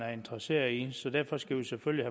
er interesserede i så derfor skal vi selvfølgelig